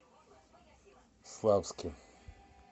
славске